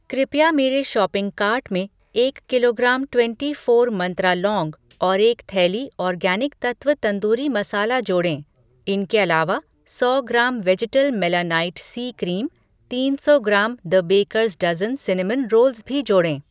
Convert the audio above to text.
कृपया मेरे shopping cart में एक किलोग्राम ट्वेंटी फ़ोर मंत्रा लौंग और एक थैली आर्गैनिक तत्त्व तंदूरी मसाला जोड़ें। इनके अलावा, सौ gram vegetal melanite C cream, तीन सौ gram the baker's dozen cinnamon rolls भी जोड़ें।